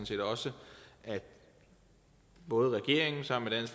set også at både regeringen sammen med